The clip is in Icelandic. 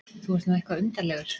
Þú ert nú eitthvað undarlegur.